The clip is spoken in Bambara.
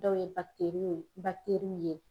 Dɔw ye ye